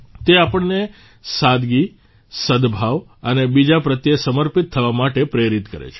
તે આપણને સાદગી સદભાવ અને બીજા પ્રત્યે સમર્પિત થવા માટે પ્રેરિત કરે છે